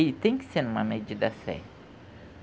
E tem que ser em uma medida certa.